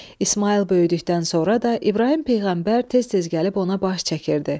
İsmayıl böyüdükdən sonra da İbrahim peyğəmbər tez-tez gəlib ona baş çəkirdi.